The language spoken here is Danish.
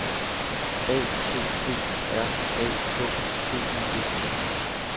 A T T R A K T I V T